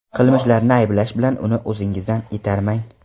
Qilmishlarini ayblash bilan uni o‘zingizdan itarmang.